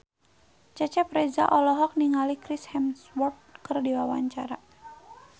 Cecep Reza olohok ningali Chris Hemsworth keur diwawancara